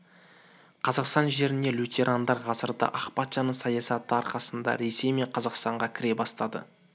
қазақстан жеріне лютерандар ғасырда ақ патшаның саясаты арқасында ресей мен қазақстанға кіре бастады